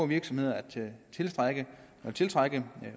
virksomheder at tiltrække